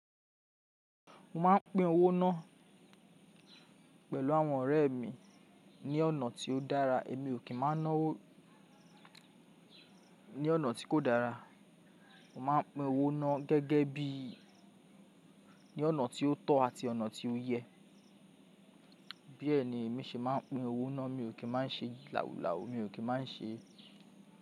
Mo má ń pín owó ná pẹ̀lú àwọn ọ̀rẹ́ mi ní ọ̀nà tí ó dára. Èmi ò kì ń má ná owó ní ọ̀nà tí kò dára. Mo máa ń pín owó ná gẹ́gẹ́ bí ní ọ̀nà tí ó tọ́ àti ọ̀nà tí ó yẹ. Bí ẹni èmi ṣe máa ń pín owó ná, mi ò kì ń máa ṣe làwúlàwú, mi ò kì ń máa ṣe.